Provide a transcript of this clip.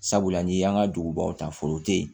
Sabula n'i y'an ka dugubaw ta foro te yen